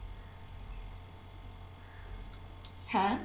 হ্যাঁ